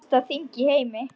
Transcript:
Elsta þing í heimi.